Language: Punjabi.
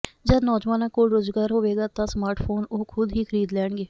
ਜਦ ਨੌਜਵਾਨਾਂ ਕੋਲ ਰੋਜ਼ਗਾਰ ਹੋਵੇਗਾ ਤਾਂ ਸਮਾਰਟ ਫੋਨ ਉਹ ਖੁਦ ਹੀ ਖਰੀਦ ਲੈਣਗੇ